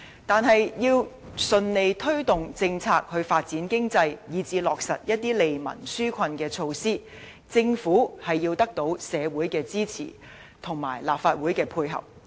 但是，要順利推動政策以發展經濟，以至落實一些利民紓困的措施，政府必須獲得社會的支持和立法會的配合。